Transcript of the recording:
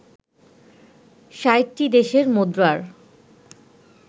৬০টি দেশের মুদ্রার